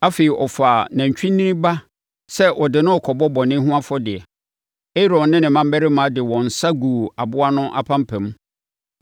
Afei, ɔfaa nantwinini ba sɛ ɔde no rekɔbɔ bɔne ho afɔdeɛ. Aaron ne ne mmammarima de wɔn nsa guu aboa no apampam,